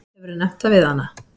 Hefurðu nefnt það við hana?